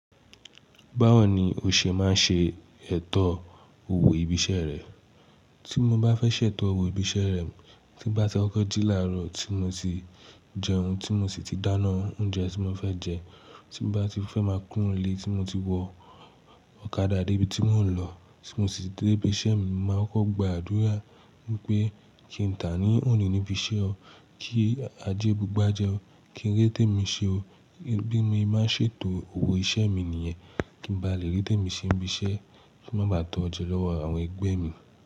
Báwo ni o ṣe máa ń ṣe ètò òwò ibi iṣẹ́ rẹ? Tí mo bá fẹ́ ṣètò òwò ibi iṣẹ́ rẹ, tí bá ti ọgọ́jí láàárọ̀ tí mo ti jẹun, tí mo sì ti dáná oúnjẹ tí mo fẹ́ jẹ, tí bá ti fẹ́ máa kúnlé, tí mo ti wọ ọ̀kadà dé ibi tí mò ń lọ, tí mo sì dé ibi iṣẹ́ mi, màá kọ́ gba àdúrà wípé kí ń tà á ní òní níbi iṣẹ́ o, kí ajé bu igba jẹ́ o, kí ń rè té mi ṣe o. Bí mo bá ṣètò òwò iṣẹ́ mi nìyẹn, kí ń bá lè rèté mi ṣe níbi iṣẹ́, kí mo bá tọ́ jọ lọ́wọ́ àwọn ẹgbẹ́ mi.